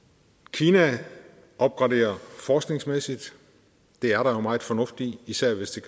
kina opgraderer forskningsmæssigt det er der jo meget fornuft i især hvis